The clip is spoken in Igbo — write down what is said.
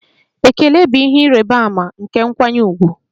Ekele bụ ihe ịrịba ama nke nkwanye ùgwù.